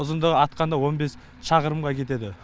ұзындығы атқанда он бес шақырымға кетеді